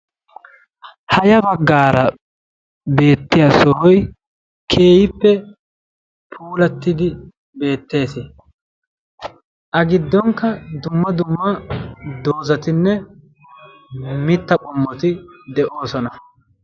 ha ya baggara beettiya sohoy keehippe puulatidi beettees. A giddonkka dumma dumma doozatinne mitta qommoti de'oosona.